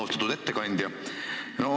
Austatud ettekandja!